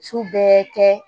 Su bɛɛ kɛ